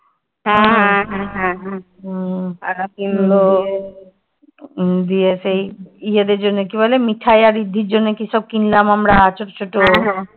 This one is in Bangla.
উম গিয়ে সেই ইয়েদের জন্য কি বলে মিঠাই আর ঋদ্ধি জন্য কি সব কিনলাম আমরা ছোট ছোট